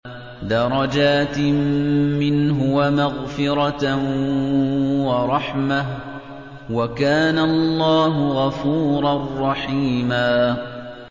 دَرَجَاتٍ مِّنْهُ وَمَغْفِرَةً وَرَحْمَةً ۚ وَكَانَ اللَّهُ غَفُورًا رَّحِيمًا